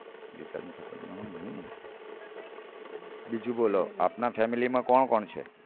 બીજું બોલો આપના family માં કોણ કોણ છે